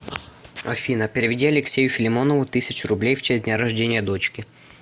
афина переведи алексею филимонову тысячу рублей в честь дня рождения дочки